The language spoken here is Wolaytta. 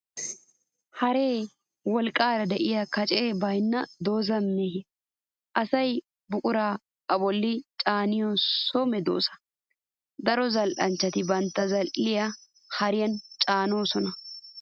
Haree wolqqaara de'iya, kacee baynna, dozaa miya, asay buqurata a bolli caaniyo so medoosa. Daro zal'anchchati bantta zal'iyaa hariyan caanoosona.